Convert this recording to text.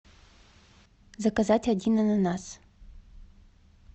заказать один ананас